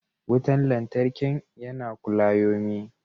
Wutan lantarkin yana kulayomi.